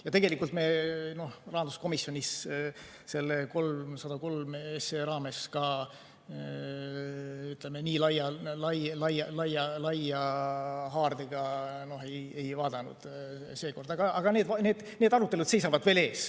Ja tegelikult me rahanduskomisjonis selle 303 SE raames seda nii laia haardega ei vaadanud, aga need arutelud seisavad ees.